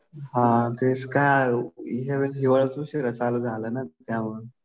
हा काय आहे या वेळेस हिवाळाच उशिरा चालू झाला ना त्यामुळं.